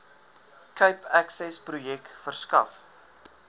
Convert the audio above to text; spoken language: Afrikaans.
cape accessprojek verskaf